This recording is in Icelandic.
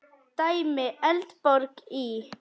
Dæmi: Eldborg í